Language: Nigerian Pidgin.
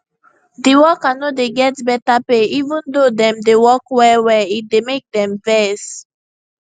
the worker no dey get better pay even though dem dey work wellwell e dey make dem vex